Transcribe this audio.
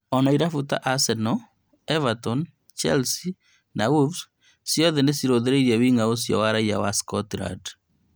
Ona irabu cia Arsenal, Everton, Chelsea na Wolves ciothe nĩcirũthĩrĩirie wing'a ũcio raiya wa Scotland